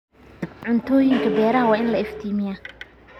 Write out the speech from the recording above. Cuntooyinka beeraha waa in la iftiimiyaa.